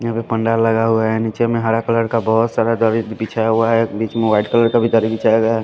यहाँ पे पंडाल लगा हुआ है निचे में हरा कलर का बहुत सारा दरी बिछा हुआ है जिस में वाइट कलर का भी दरी बिछाया गया है।